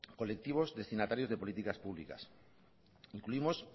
colectivos destinatarios de políticas públicas incluimos